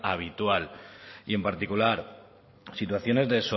habitual y en particular situaciones de